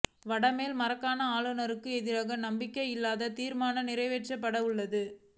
வட மேல் மாகாண ஆளுனருக்கு எதிராக நம்பிக்கையில்லா தீர்மானம் நிறைவேற்றப்பட உள்ளது